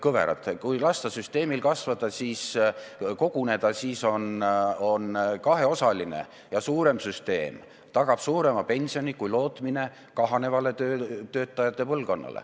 Kui lasta süsteemil kasvada, rahal koguneda, siis tagab kaheosaline ja suurem süsteem suurema pensioni kui lootmine kahanevale töötajate põlvkonnale.